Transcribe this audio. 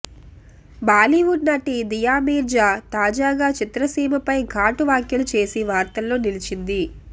బాలీవుడ్ నటి దియా మీర్జా తాజాగా చిత్రసీమ ఫై ఘాటు వ్యాఖ్యలు చేసి వార్తల్లో నిలిచింది